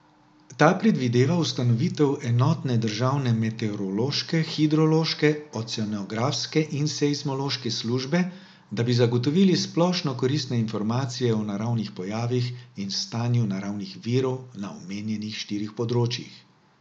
Ta predvideva ustanovitev enotne državne meteorološke, hidrološke, oceanografske in seizmološke službe, da bi zagotovili splošno koristne informacije o naravnih pojavih in stanju naravnih virov na omenjenih štirih področjih.